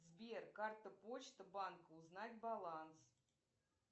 сбер карта почта банка узнать баланс